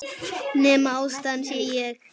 Nema ástæðan sé ég.